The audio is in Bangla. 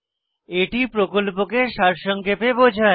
এটি প্রকল্পকে সারসংক্ষেপে বোঝায়